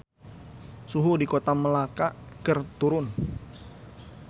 Suhu di Kota Melaka keur turun